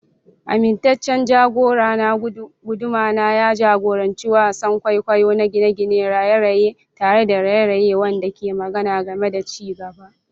Amintaccen jagorana, guduma, ya jagoranci wasan kwaikwayo na gine-gine, raye-raye tare da raye-raye wanda ke magana game da ci gaba.